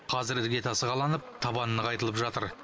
қазір іргетасы қаланып табаны нығайтылып жатыр